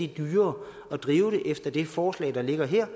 dyrere at drive det efter det forslag der ligger her